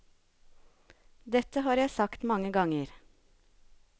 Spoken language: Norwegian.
Dette har jeg sagt mange ganger.